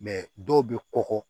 dɔw bɛ kɔkɔ